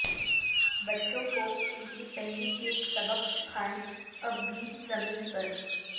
بچوں کو ان کی پہلی کیک سبق سکھائیں اب بھی زمین پر